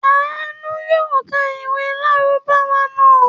Àánú yóò ka ìwé Lárúbáwá náà.